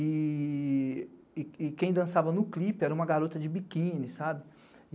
E quem dançava no clipe era uma garota de biquíni, sabe?